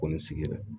Ko nin sigira